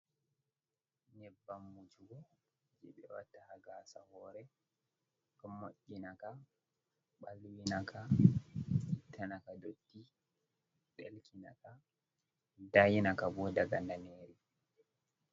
Nyebbam wujugo je ɓe watta ha gasa hore, ka moinaka, ɓalwinaka, ita naka dotti, ɗelkina ka, dayi naka bo daga daneri.